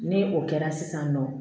Ni o kɛra sisan nɔ